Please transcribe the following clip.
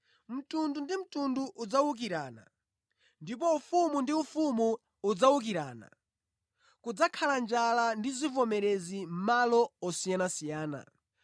Mtundu ndi mtundu udzawukirana, ndipo ufumu ndi ufumu udzawukirana. Kudzakhala njala ndi zivomerezi mʼmalo osiyanasiyana.